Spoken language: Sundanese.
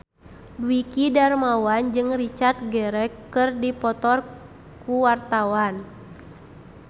Dwiki Darmawan jeung Richard Gere keur dipoto ku wartawan